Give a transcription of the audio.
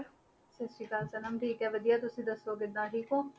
ਸਤਿ ਸ੍ਰੀ ਅਕਾਲ ਸਨਮ ਠੀਕ ਹੈ ਵਧੀਆ ਤੁਸੀਂ ਦੱਸੋ ਕਿੱਦਾਂ ਠੀਕ ਹੋ?